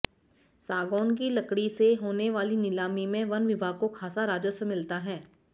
सागौन की लकड़ी से होने वाली नीलामी में वन विभाग को खासा राजस्व मिलता है